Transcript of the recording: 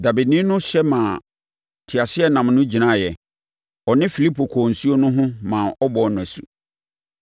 Dabeni no hyɛ maa teaseɛnam no gyinaeɛ. Ɔne Filipo kɔɔ nsuo no ho maa ɔbɔɔ no asu.